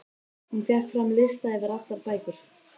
Hún fékk fram lista yfir allar bækur